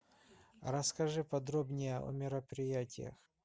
расскажи подробнее о мероприятиях